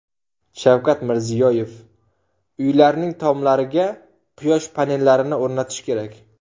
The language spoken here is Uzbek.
Shavkat Mirziyoyev: Uylarning tomlariga quyosh panellarini o‘rnatish kerak .